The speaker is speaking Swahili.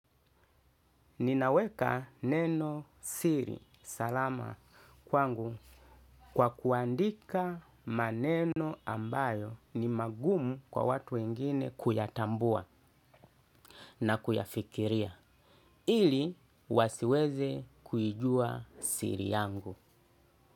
Ninaweka neno siri. Salama kwangu. Kwa kuandika maneno ambayo ni magumu kwa watu wengine kuyatambua na kuyafikiria. Ili wasiweze kuijua siri yangu.